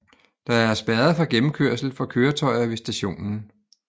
Der er spærret for gennemkørsel for køretøjer ved stationen